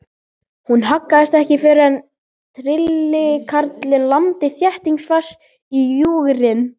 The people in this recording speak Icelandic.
Hún haggaðist ekki fyrr en trillukarlinn lamdi þéttingsfast í júgrin.